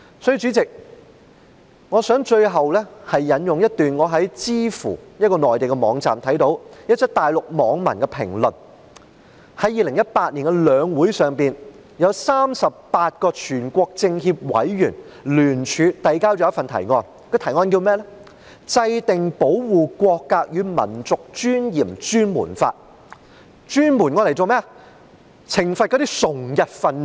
在2018年的中華人民共和國全國人民代表大會和中國人民政治協商會議全國委員會會議上，有38位全國政協委員聯署遞交了一份提案，標題為"制定保護國格與民族尊嚴專門法"，專門用來懲罰崇日分子。